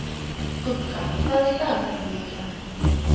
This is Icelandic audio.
Gugga, hvað er í dagatalinu mínu í dag?